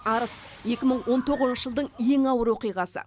арыс екі мың он тоғызыншы жылдың ең ауыр оқиғасы